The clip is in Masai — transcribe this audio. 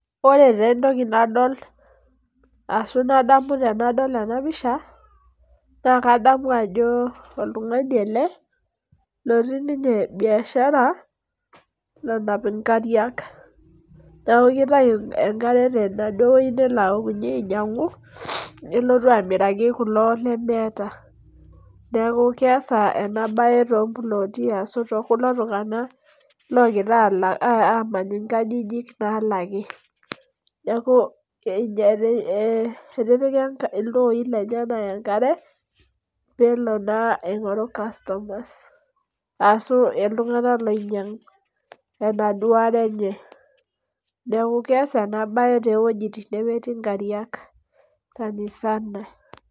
Ore taa entoki nadol ashu nadamu tenadol ena pisha, naa kadamu ajo oltungani ele otii ninye biashara nanap nkariak .Neeku kitayu enkare tenaduo weji nelo aokunyi ainyangu, nelotu amiraki kulo lemeeta. Neeku keesa ena bae toompuloti ashu tookulo tungank ogira amany nkajijik naalaki. Neeku etipika ltooi lenyenak enkare ,pee elo naa aingoru customers ashu iltunganak loinyangu enaduo are enye. Neeku keesa ena toowejitin nemetii nkariak sanisana.